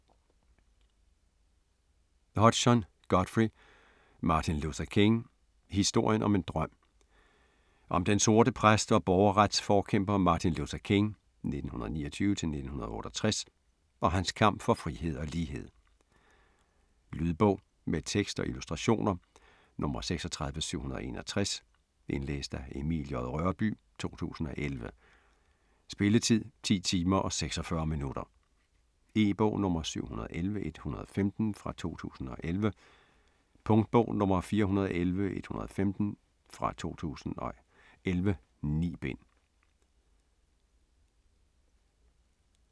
Hodgson, Godfrey: Martin Luther King: historien om en drøm Om den sorte præst og borgerretsforkæmper Martin Luther King (1929-1968) og hans kamp for frihed og lighed. Lydbog med tekst og illustrationer 36791 Indlæst af Emil J. Rørbye, 2011. Spilletid: 10 timer, 46 minutter. E-bog 711115 2011. Punktbog 411115 2011. 9 bind.